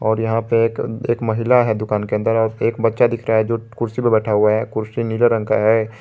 और यहां पे एक एक महिला है दुकान के अंदर और एक बच्चा दिख रहा है जो कुर्सी पर बैठा हुआ है कुर्सी नीले रंग का है।